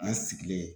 An sigilen